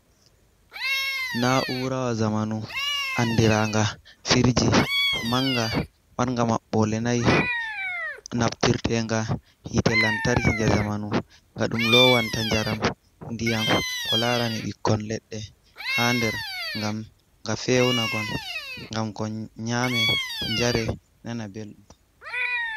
Na'ura wa zamanu andiranga firji manga, marga maɓɓole wa nai, naftirtenga hitte lantarki je zamanu, nga ɗum lowanta jaram, ndiyam, ko larani ɓikkon leɗɗe ha nder ngam ga fewuna kon, ngam kon nyame, njare, nana belɗum.